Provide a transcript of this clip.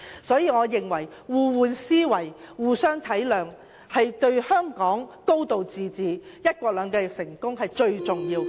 所以，我認為互換思維、互相體諒，對香港成功落實"高度自治"和"一國兩制"最為重要。